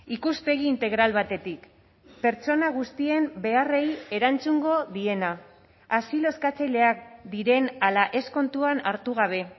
ikuspegi integral batetik pertsona guztien beharrei erantzungo diena asilo eskatzaileak diren ala ez kontuan hartu gabe